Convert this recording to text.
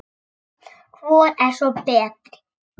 Hvor er svo betri?